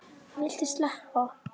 Viltu sleppa!